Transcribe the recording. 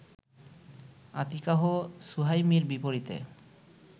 আতিকাহ সুহাইমির বিপরীতে